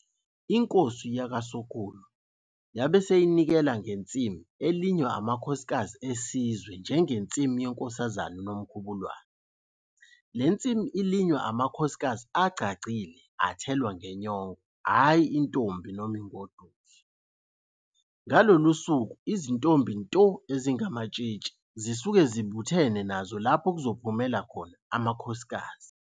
INkosi yakwaSokhulu yabe seyinikela ngensimu elinywa amakhosikazi esizwe njengensimu yeNkosazane uNomkhubulwane. Le nsimu ilinywa amakhosikazi agcagcile athelwa ngenyongo hhayi intombi noma ingoduso. Ngalolu suku izintombi nto ezingamatshitshi zisuke zibuthene nazo lapho kuzophumela khona amakhosikazi.